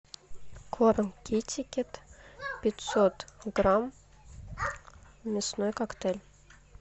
корм китикет пятьсот грамм мясной коктейль